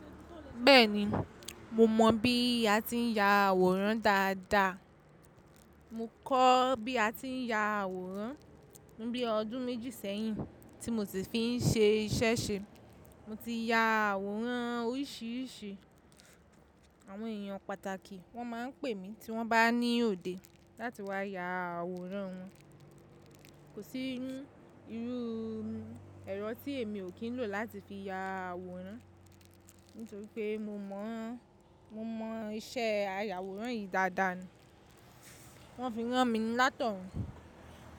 Bẹ́ẹ̀ni, mo mọ̀ bí a ti ń ya àwòrán dáadáa. Mo kọ́ bí a ti ń ya àwòrán ní bí i ọdún méjì sẹ́yìn tí mo sì fi ń ṣe iṣẹ́ ṣe. Mo ti ya àwòrán oríṣiríṣi àwọn èèyàn pàtàkì. Wọ́n máa ń pè mí tí wọ́n bá ní òde láti wá ya àwòrán wọn. Kò sí irú iru ẹ̀rọ tí èmi ò kí ń lò láti fi ya àwòrán nítorí pé mo mọ̀, mo mọ̀ iṣẹ́ ayaàwòrán yìí dáadáa ni. Wọ́n fi ń rán mi látọ̀rẹ́.